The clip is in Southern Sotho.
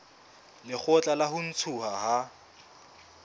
lekgotla la ho ntshuwa ha